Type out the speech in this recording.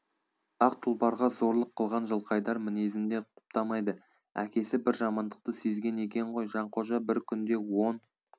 ақ тұлпарға зорлық қылған жылқайдар мінезін де құптамайды әкесі бір жамандықты сезген екен ғой жанқожа бір күнде он